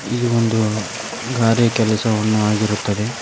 ಇದು ಒಂದು ಗಾರೆ ಕೆಲಸವನ್ನು ಆಗಿರುತ್ತದೆ.